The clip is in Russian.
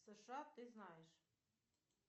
сша ты знаешь